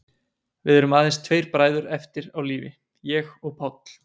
Við erum aðeins tveir bræður eftir á lífi, ég og Páll.